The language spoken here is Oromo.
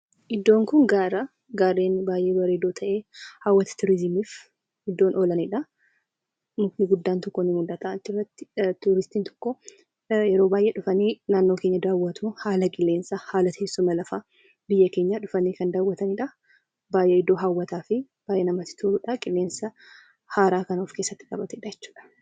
Iddoon kun gaara. Gaara baay'ee bareedu ta'e hawwata turizimiif iddoo oolanidha. Mukti guddaan tokko ni mul'ata achirratti turistiin yeroo baay'ee dhufanii naannoo keenya daawwatu. Haala qilleensaa teessuma lafaa biyya keenyaa dhufanii kan daawwatanidha. Baay'ee iddoo hawwataa fi namatti toludha. Qilleensa haaraa kan of keessatti qabatedha jechuudha.